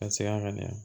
Ka segin a ka na yan